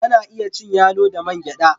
Ana iya cin yalo da man gyada.